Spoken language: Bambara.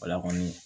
Wala kɔni